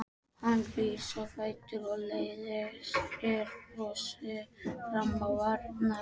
Hann rís á fætur og læðir brosi fram á varirnar.